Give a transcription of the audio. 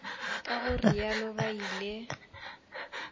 ka go realo ba ile